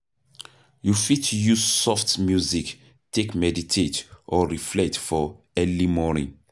You fit use soft music take meditate or reflect for early morning